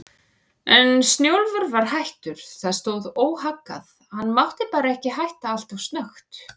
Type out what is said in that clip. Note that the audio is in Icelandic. En Snjólfur var hættur, það stóð óhaggað, hann mátti bara ekki hætta alltof snöggt.